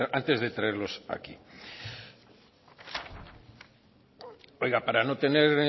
antes de traerlos aquí oiga para no tener